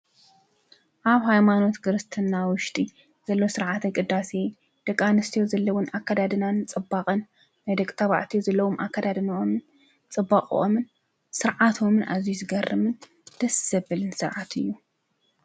ኣብ ሃይማኖት ክርስትና ውሽጢ ዘሎ ስርዓተ ቅዳሴ ደቂ ኣንስትዮ ዘለወን ኣከዳድናን ፅባቐን ናይ ደቂ ተባዓትዮ ዘለዎም ኣከዳድነኦምን ስርዓቶም፣ ፅባቐኦምን ስርዓቶምን ኣዝዩ ዝገርምን ደስ ዘብልን ስርዓት እዩ።